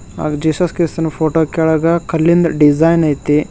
ಹಾಗೆ Jesus kiss ನಾ photo ಕೆಳಗ ಕಲ್ಲಿಂದ್ ಡಿಸೈನ್ ಐತಿ.